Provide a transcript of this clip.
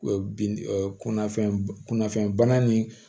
Bin kunnafini kunnafoni bana ni